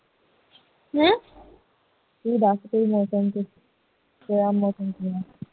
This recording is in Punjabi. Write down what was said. ਤੂੰ ਦੱਸ ਫਿਰ ਮੌਸਮ ਤੇ ਉਥੇ ਦਾ ਮੌਸਮ ਕਿਵੇਂ ਹੈ